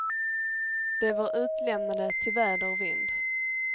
De var utlämnade till väder och vind.